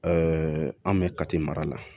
an bɛ kati mara la